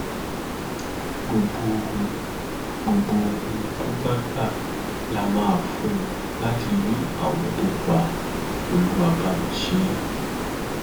gbogbo ohun gbogbo ohun tó bá gbà la máa fún un láti rí àwọn tó pa olúwàbàmíṣẹ